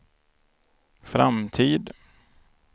framtid